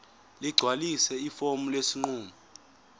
ligcwalise ifomu lesinqumo